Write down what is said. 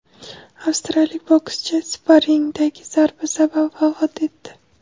Avstraliyalik bokschi sparringdagi zarba sabab vafot etdi.